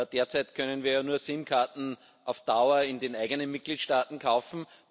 Derzeit können wir nur SIM Karten auf Dauer in den eigenen Mitgliedstaaten kaufen.